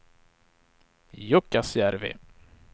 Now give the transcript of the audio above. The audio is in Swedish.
Jukkasjärvi